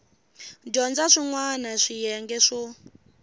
dyondza swin wana swiyenge swo